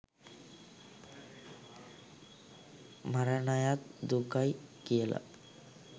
මරණයත් දුකයි කියලා.